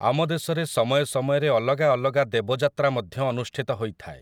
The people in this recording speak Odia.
ଆମ ଦେଶରେ ସମୟ ସମୟରେ ଅଲଗା ଅଲଗା ଦେବଯାତ୍ରା ମଧ୍ୟ ଅନୁଷ୍ଠିତ ହୋଇଥାଏ ।